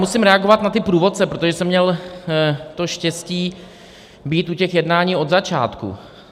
Musím reagovat na ty průvodce, protože jsem měl to štěstí být u těch jednání od začátku.